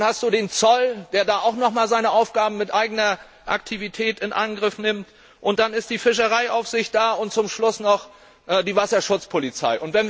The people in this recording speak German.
Dann hat man den Zoll, der da auch noch einmal seine Aufgaben mit eigener Aktivität in Angriff nimmt. Und dann ist da die Fischereiaufsicht und zum Schluss noch die Wasserschutzpolizei.